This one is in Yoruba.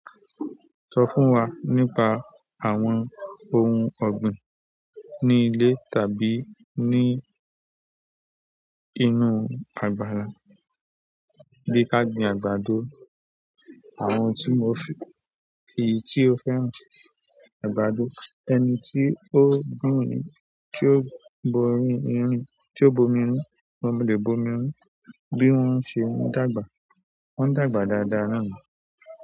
Sọ fún wa nípa àwọn ohun ọ̀gbìn ní ilé tàbí ní inú àgbàlá bí i ká gbìn àgbàdo àwọn tí mo fi. Èyí tí o fẹ́ràn àgbàdo, ẹni tí ó ròyìn, tí ó borí irin, tí ó bomi run, mo lè bomi run bí wọ́n ṣe ń dàgbà. Wọ́n dàgbà dáadáa náà ni.